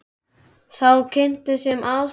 Sá kynnti sig sem aðstoðaryfirlögregluþjón staðarins.